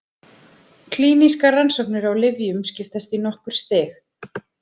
Klínískar rannsóknir á lyfjum skiptast í nokkur stig.